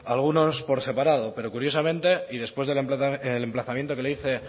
algunos por separado pero curiosamente y después del emplazamiento que le hice